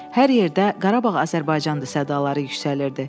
Hər yerdə Qarabağ Azərbaycandır sədaları yüksəlirdi.